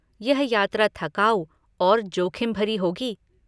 यह यात्रा थकाऊ और जोखिम भरी होगी।